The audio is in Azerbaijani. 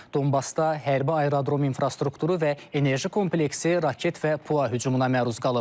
Donbasda hərbi aerodrom infrastrukturu və enerji kompleksi raket və PUA hücumuna məruz qalıb.